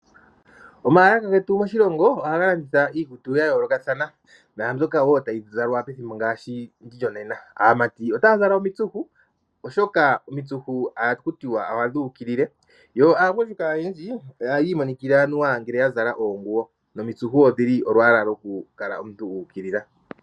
Omaalaka getu moshilongo ohaga landitha iikutu ya yoolokathana naambyoka woo tayi zalwa pethimbo ngaashi ndi lyonena. Aamati otaya zala omitsuhu oshoka omitsuhu ohakutiwa ohadhi ukilile yo aagundjuka oyendji ohaya imonikila anuwa ngele ya zala oonguwo nomitsuhu odhili olwaala lwokukala omuntu wu ukilila.